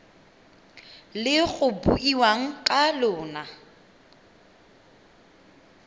le go buiwang ka lona